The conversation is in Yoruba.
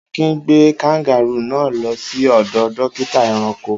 Akin gbé kangárù náà lọ sí ọ̀dọ̀ dókítà ẹranko.